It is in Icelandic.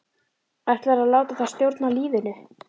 Ætlarðu að láta það stjórna lífinu?